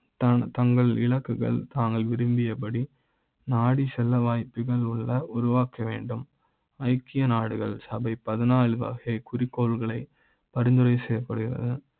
தான் தங்கள் இலக்குகளை தாங்கள் விரும்பியபடி நாடி செல்ல வாய்ப்புகள் உள்ள உருவாக்க வேண்டும் ஐக்கிய நாடுகள் சபை பதினா று வகை குறிக்கோள்களை பரிந்துரை செய்ய ப்படுகிறது.